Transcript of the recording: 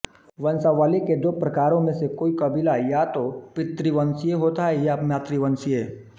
वंशावली के दो प्रकारों में से कोई कबीला या तो पितृवंशीय होता है या मातृवंशीय